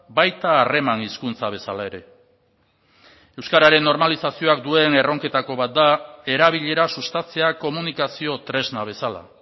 baita harreman hizkuntza bezala ere euskararen normalizazioak duen erronketako bat da erabilera sustatzea komunikazio tresna bezala